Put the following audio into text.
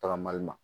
Tagamali ma